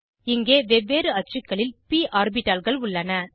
இங்கே வெவ்வேறு அச்சுக்களில் ப் ஆர்பிட்டால்கள் உள்ளன